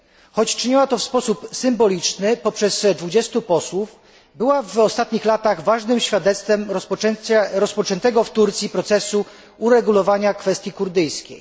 Choć czyniła to w sposób symboliczny poprzez 20 posłów, była w ostatnich latach ważnym świadectwem rozpoczętego w Turcji procesu uregulowania kwestii kurdyjskiej.